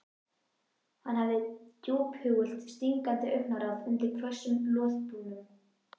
Hann hafði djúphugult stingandi augnaráð undir hvössum loðbrúnum.